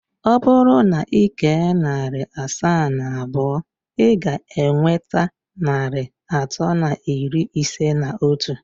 Ọ bụrụ na ị kee narị asaa na abụọ, ị ga-enweta narị atọ na iri ise na otu.